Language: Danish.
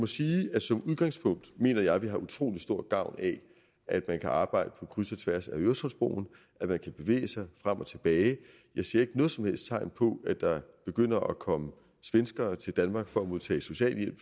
sige at som udgangspunkt mener jeg at vi har utrolig stor gavn af at man kan arbejde på kryds og tværs af øresundsbroen at man kan bevæge sig frem og tilbage jeg ser ikke noget som helst tegn på at der begynder at komme svenskere til danmark for at modtage socialhjælp